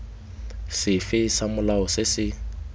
sefe sa molao se se